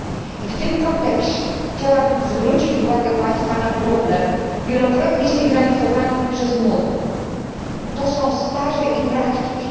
I w tym kontekście chciałabym zwrócić uwagę Państwa na problem wielokrotnie sygnalizowany mi przez młodych to są staże i praktyki.